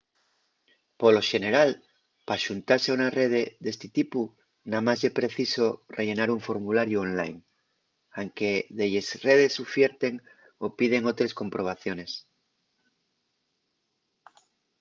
polo xeneral p’axuntase a una rede d’esti tipu namás ye preciso rellenar un formulariu online; anque delles redes ufierten o piden otres comprobaciones